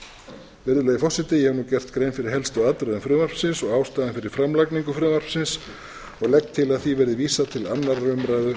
við matvæli virðulegi forseti ég hef nú gert grein fyrir helstu atriðum frumvarpsins og ástæðum fyrir framlagningu frumvarpsins og legg til að því verði vísað til annarrar umræðu